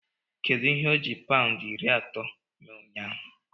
Kedu ihe oji paụndị iri atọ mee ụnyaahụ?